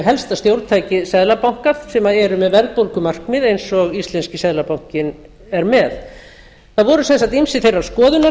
helsta stjórntæki seðlabanka sem eru með verðbólgumarkmið eins og íslenski seðlabankinn er með það voru sem sé ýmsir þeirrar skoðunar